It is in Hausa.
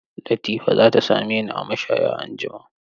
Latifa za ta same ni a mashaya anjima.